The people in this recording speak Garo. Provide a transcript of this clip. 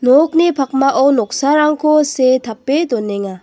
nokni pakmao noksarangko see tape donenga.